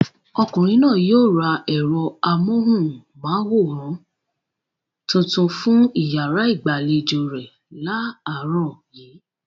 Ọkùnrin náà yóò ra ẹ̀rọ amóhùmáwòhán tuntun fún ìyàrá ìgbàlejò rẹ̀ láàárọ̀ yìí.